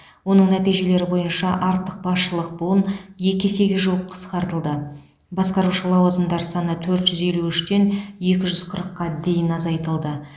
оның нәтижелері бойынша артық басшылық буын екі есеге жуық қысқартылды басқарушы лауазымдар саны төрт жүз елу үштен екі жүз қырыққа дейін азайтылды